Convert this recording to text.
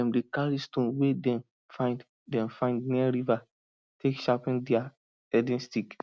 dem dey carry stone wey dem find dem find near river take sharpen dia herding stick